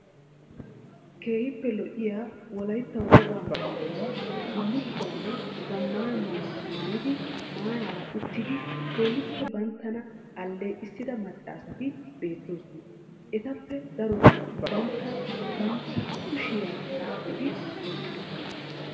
Keehiippe lo'iyaa wolaytta wogaa maayuwaa bulukkuwanne zamaana maayota maayidi maarara uttidi keehiippe banttana aleeqqisida maccaasati beettoosona. Etappe daroti bantta bantta kushiya xaaxxidi wottidosona.